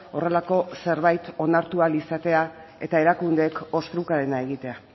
horrelako zerbait onartu ahal izatea eta erakundeek ostrukarena egitea